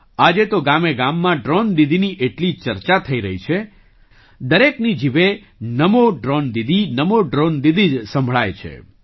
આજે તો ગામેગામમાં ડ્રૉન દીદીની એટલી ચર્ચા થઈ રહી છે દરેકની જીભે નમો ડ્રૉન દીદી નમો ડ્રૉન દીદી જ સંભળાય છે